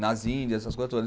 Nas Índias, essas coisas todas.